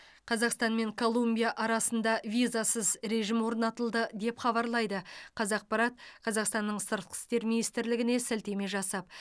қазақстан мен колумбия арасында визасыз режим орнатылды деп хабарлайды қазақпарат қазақстанның сыртқы істер министрлігіне сілтеме жасап